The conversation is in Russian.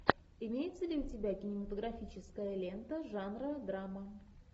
имеется ли у тебя кинематографическая лента жанра драма